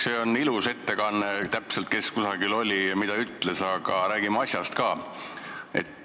See oli ilus ettekanne, et täpselt kes kusagil oli ja mida ütles, aga räägime asjast ka.